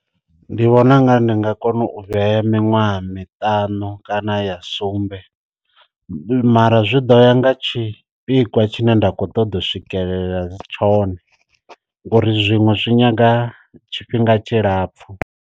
Ndi vhona ungari ndi nga kona u vhuya ya miṅwaha miṱanu kana ya sumbe, mara zwi ḓo ya nga tshipikwa tshine nda kho ṱoḓa u swikelela tshone ngori zwiṅwe zwi nyaga tshifhinga tshilapfhu.